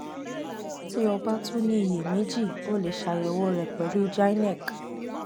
ti o ba tun ni iyemeji o le ṣayẹwo rẹ pẹlu gynec